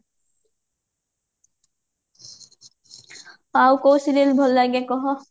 ଆଉ କଉ serial ଭଲ ଲାଗେ କହ?